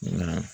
Nka